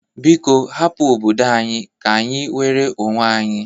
Biko hapụ obodo anyi ka-anyị nwere onwe anyị!